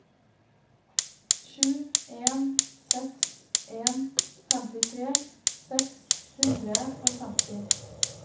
sju en seks en femtitre seks hundre og femti